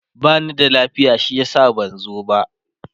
bani da lafiya shi yasa ban zo ba